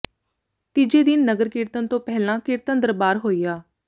ਤੀਜੇ ਦਿਨ ਨਗਰ ਕੀਰਤਨ ਤੋਂ ਪਹਿਲਾਂ ਕੀਰਤਨ ਦਰਬਾਰ ਹੋਇਆ